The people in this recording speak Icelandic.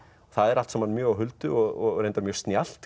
það er allt saman mjög á huldu og reyndar mjög snjallt